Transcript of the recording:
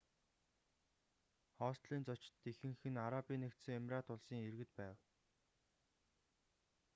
хостелийн зочид ихэнх нь арабын нэгдсэн эмират улсын иргэд байв